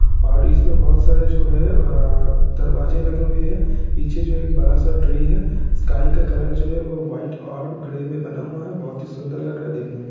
और इसमें बहुत सारे जो है अ-अ दरवाजे लगे हुए है पीछे जो एक बड़ा सा ट्री है स्काई का कलर जो है वो वाइट और ग्रे में बना हुआ है बहुत ही सुन्दर लग रहा हैदेखने में ।